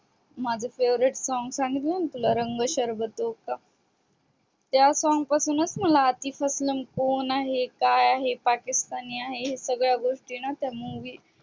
माझ favorite song सांगितल ना तुला रंग शरबतो का त्या song पासूनच मला अरतीपेरसोनाल च कोण आहे के आहे पाकिस्तानी आहे हे सगळ न मला त्या मूवी मधन